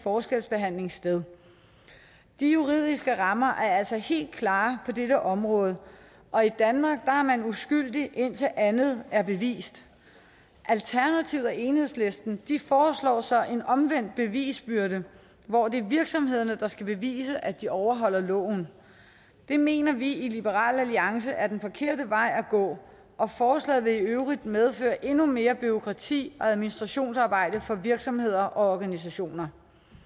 forskelsbehandling sted de juridiske rammer er altså helt klare på dette område og i danmark er man uskyldig indtil andet er bevist alternativet og enhedslisten foreslår så en omvendt bevisbyrde hvor det er virksomhederne der skal bevise at de overholder loven det mener vi i liberal alliance er den forkerte vej at gå og forslaget vil i øvrigt medføre endnu mere bureaukrati og administrationsarbejde for virksomheder og organisationer